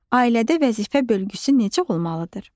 Ailədə vəzifə bölgüsü necə olmalıdır?